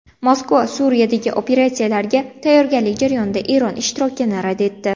Moskva Suriyadagi operatsiyalarga tayyorgarlik jarayonida Eron ishtirokini rad etdi.